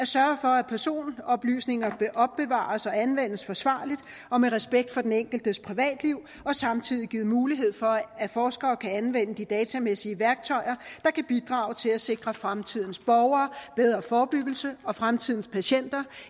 sørge for at personoplysninger opbevares og anvendes forsvarligt og med respekt for den enkeltes privatliv og samtidig give mulighed for at forskere kan anvende de datamæssige værktøjer der kan bidrage til at sikre fremtidens borgere bedre forebyggelse og fremtidens patienter